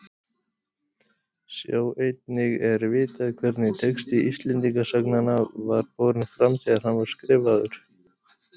Sjá einnig Er vitað hvernig texti Íslendingasagnanna var borinn fram þegar hann var skrifaður?